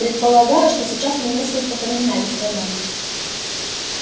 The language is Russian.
предполагаю что сейчас мы несколько поменялись ролями